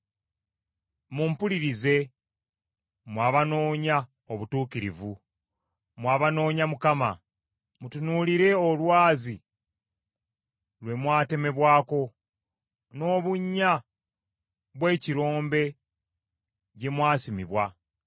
“Mumpulirize, mmwe abanoonya obutuukirivu, mmwe abanoonya Mukama : Mutunuulire olwazi lwe mwatemebwako, n’obunnya bw’ekirombe gye mwasimibwa.